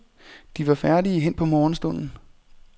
De var færdige hen på morgenstunden.